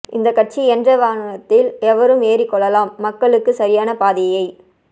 இந்தக் கட்சி என்ற வாகனத்தில் எவரும் ஏறிக் கொள்ளலாம் மக்களுக்கு சரியான பாதையைக்